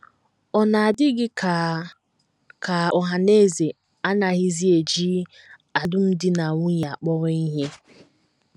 Ọ̀ na - adị gị ka ka ọhaneze anaghịzi eji alụmdi na nwunye akpọrọ ihe?